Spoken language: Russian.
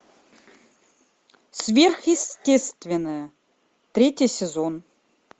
сверхъестественное третий сезон